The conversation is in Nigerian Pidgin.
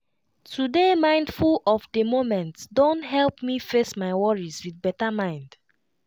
to dey mindful of the moment don help me face my worries with better mind.